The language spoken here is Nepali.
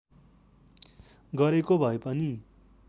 गरेको भए पनि